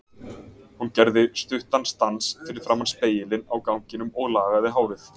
Hún gerði stuttan stans fyrir framan spegilinn á ganginum og lagaði hárið.